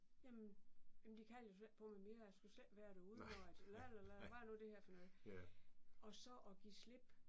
Jamen jamen de kalder jo slet ikke på mig mere jeg skal selv være derude jo altså la la la hvad er nu det her for noget og så at give slip